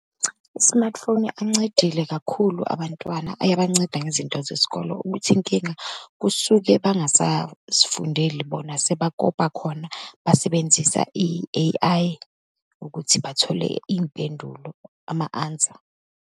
Smartphone ancedile kakhulu abantwana. Ayabanceda ngezinto zesikole, ukuthi inkinga kusuke bangasazifundeli bona, sebakopa khona, basebenzisa i-A_I ukuthi bathole iy'mpendulo, ama-answer.